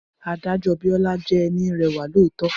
Adájọ́ Biola jẹ́ ẹni rẹwà lọọtọ